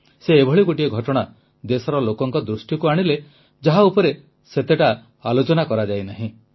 ସେ ଏଭଳି ଗୋଟିଏ ଘଟଣା ଦେଶର ଲୋକଙ୍କ ଦୃଷ୍ଟିକୁ ଆଣିଲେ ଯାହା ଉପରେ ସେତେ ଆଲୋଚନା କରାଯାଇନାହିଁ